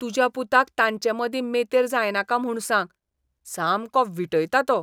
तुज्या पुताक तांचेमदीं मेतेर जायनाका म्हूण सांग. सामको वीटयता तो.